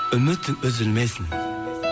үмітің үзілмесін